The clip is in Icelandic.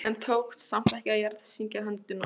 En tókst samt ekki að jarðsyngja höndina.